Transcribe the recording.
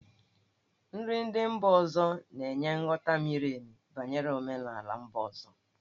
Nri ndị mba ọzọ na-enye nghọta miri emi banyere omenala mba ọzọ.